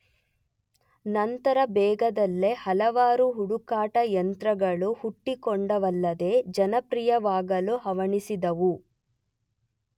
ನಂತರ ಬೇಗದಲ್ಲೇ ಹಲವಾರು ಹುಡುಕಾಟ ಯಂತ್ರಗಳು ಹುಟ್ಟಿಕೊಂಡವಲ್ಲದೆ ಜನಪ್ರಿಯವಾಗಲು ಹವಣಿಸಿದವು.